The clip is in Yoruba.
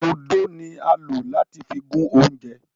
Ódó ni a n lo lati fi gun ounjẹ.